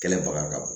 Kɛlɛbaga ka bon